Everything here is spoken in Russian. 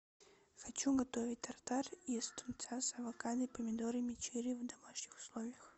хочу готовить тартар из тунца с авокадо и помидорами черри в домашних условиях